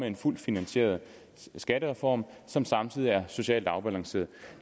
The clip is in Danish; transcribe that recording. en fuldt finansieret skattereform som samtidig er socialt afbalanceret